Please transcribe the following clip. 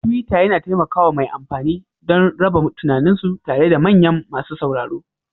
Tuwiitter yana taimaka wa mai amfani don raba tunaninsu tare da manyan masu sauraro